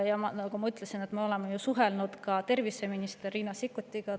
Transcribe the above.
Ja nagu ma ütlesin, me oleme suhelnud ka terviseminister Riina Sikkutiga.